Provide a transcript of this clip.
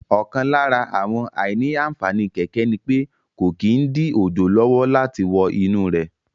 Ọ̀kan lára àwọn àìní-ànfàní kẹ̀kẹ́ ni pé kò kí n dí òjò lọ́wọ́ láti wọ inú rẹ̀